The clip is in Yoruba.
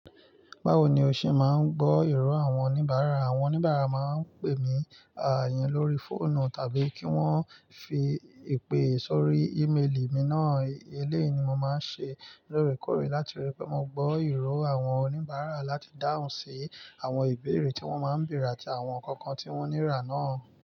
Báwo ni o ṣe máa ń gbọ́ ìró àwọn oníbàárà? Àwọn oníbàárà máa ń pè mi àà iyen lórí fóònù tàbí kí wọ́n fi ipè sórí ímélì mi náà. Eléyìí ni mo máa ń ṣe lóòrèkóòrè láti rí pé mo gbọ́ ìró àwọn oníbàárà láti dáhùn sí àwọn ìbéèrè tí wọ́n máa ń bèèrè àti àwọn kankan tí wọ́n nira náà.